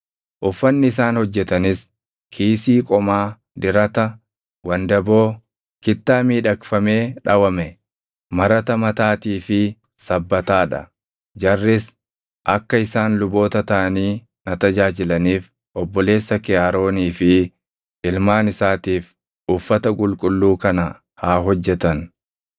Uffanni isaan hojjetanis: kiisii qomaa, dirata, wandaboo, kittaa miidhagfamee dhawame, marata mataatii fi sabbataa dha. Jarris akka isaan luboota taʼanii na tajaajilaniif obboleessa kee Aroonii fi ilmaan isaatiif uffata qulqulluu kana haa hojjetan.